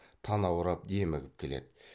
танаурап демігіп келеді